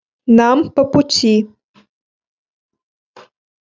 нам по пути